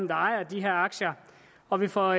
der ejer de her aktier og vi får